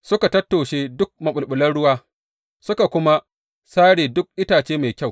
Suka tattoshe duk maɓulɓulan ruwa, suka kuma sare duk itace mai kyau.